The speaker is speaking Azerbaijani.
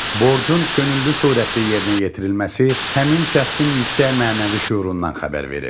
Borcun könüllü surətdə yerinə yetirilməsi həmin şəxsin yüksək mənəvi şüurundan xəbər verir.